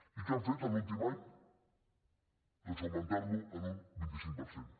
i què han fet l’últim any doncs augmentar lo en un vint cinc per cent